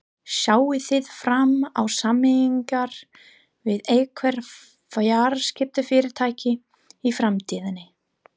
Sjáið þið fram á sameiningar við einhver fjarskiptafyrirtæki í framtíðinni?